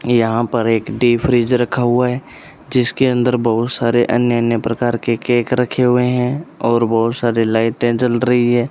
यहां पर एक डी फ्रिज रखा हुआ है जिसके अंदर बहोत सारे अन्य अन्य प्रकार के केक रखे हुए हैं और बहुत सारे लाइटें जल रही है।